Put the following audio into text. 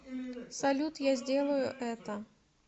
салют я сделаю это